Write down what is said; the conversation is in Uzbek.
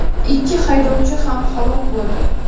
Ikki haydovchi ham halok bo‘ldi.